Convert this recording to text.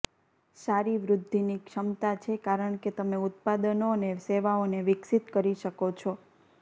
સારી વૃદ્ધિની ક્ષમતા છે કારણ કે તમે ઉત્પાદનો અને સેવાઓને વિકસિત કરી શકો છો